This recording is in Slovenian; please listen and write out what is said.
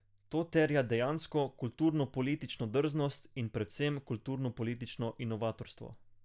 To terja dejansko kulturnopolitično drznost in predvsem kulturnopolitično inovatorstvo.